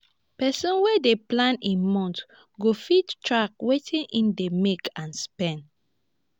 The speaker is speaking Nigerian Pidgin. pesin wey dey plan im month go fit track wetin im dey make and spend